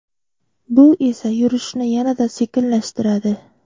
Bu esa yurishni yanada sekinlashtiradi.